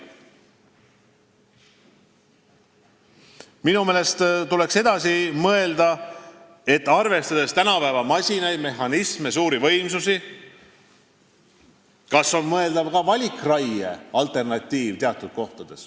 Minu meelest tuleks mõelda, arvestades tänapäevaseid masinaid, mehhanisme ja suuri võimsusi, kas teatud kohtades on mõeldav ka valikraie alternatiiv.